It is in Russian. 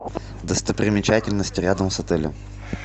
достопримечательности рядом с отелем